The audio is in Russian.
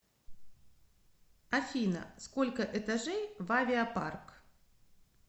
афина сколько этажей в авиапарк